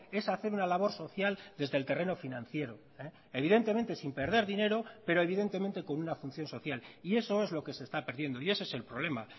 es hacer una labor social desde el terreno financiero evidentemente sin perder dinero pero evidentemente con una función social y eso es lo que se está perdiendo y ese es el problema